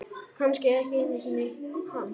Kannski ekki einu sinni hann.